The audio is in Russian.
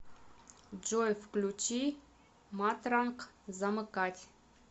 джой включи матранг замыкать